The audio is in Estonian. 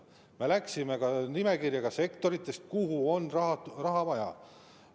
Me läksime nende sektorite nimekirjaga, kus on raha vaja.